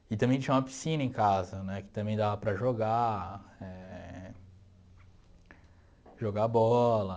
E também tinha uma piscina em casa, né, que também dava para jogar eh, jogar bola.